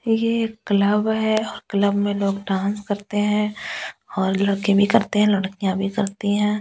ये एक क्लब है क्लब में लोग डांस करते हैं और लड़के भी करते हैं लड़कियां भी करती हैं।